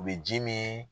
U bɛ ji min